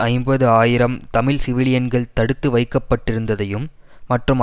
ஐம்பது ஆயிரம் தமிழ் சிவிலியன்கள் தடுத்து வைக்கப்பட்டிருந்ததையும் மற்றும்